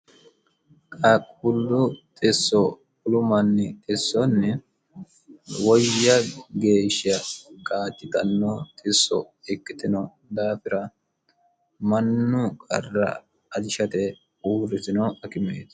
qaqullu xisso wolu manni xissonni woyya geeshsha kaajjitanno xisso ikkitino daafira mannu qarra ajishate uurritino akime.